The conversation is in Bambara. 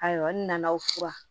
A yɔrɔnin na o furan